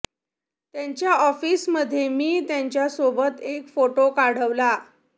त्यांच्या ऑफिसमधे मी त्यांच्या सोबत एक फोटो काढवला